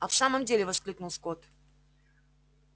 а в самом деле воскликнул скотт